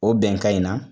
O bɛnkan in na